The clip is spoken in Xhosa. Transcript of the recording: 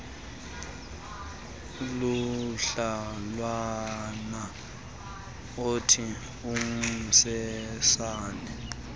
kumdlalwana othi umsesane